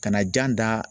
Kana jan da